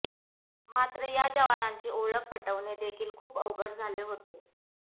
मात्र या जवानांची ओळख पटवणे देखील खूप अवघड झाले होते